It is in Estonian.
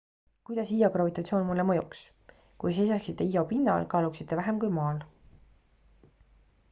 kuidas io gravitatsioon mulle mõjuks kui seisaksite io pinnal kaaluksite vähem kui maal